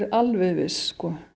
viss